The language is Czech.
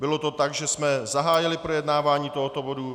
Bylo to tak, že jsme zahájili projednávání tohoto bodu.